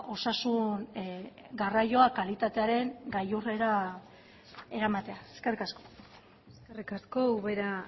osasun garraioa kalitatearen gailurrera eramatea eskerrik asko eskerrik asko ubera